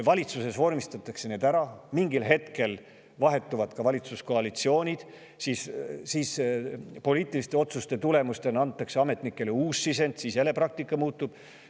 Valitsuses vormistatakse need ära, mingil hetkel vahetuvad ka valitsuskoalitsioonid ja siis antakse ametnikele poliitiliste otsuste tulemusena uus sisend, praktika jälle muutub.